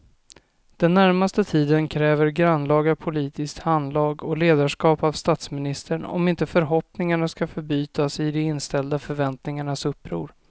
Den närmaste tiden kräver grannlaga politiskt handlag och ledarskap av statsministern om inte förhoppningarna ska förbytas i de inställda förväntningarnas uppror.